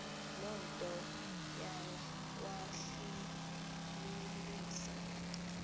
loo nto yawahlasimlisa